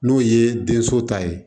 N'o ye denso ta ye